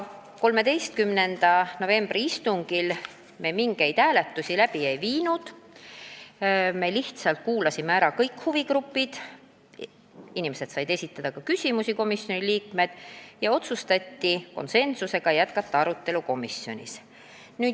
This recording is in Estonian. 13. novembri istungil me mingeid hääletusi ei teinud, kuulasime lihtsalt ära kõik huvigrupid, inimesed said esitada ka küsimusi ja otsustati jätkata arutelu komisjonis.